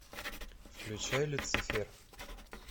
включай люцифер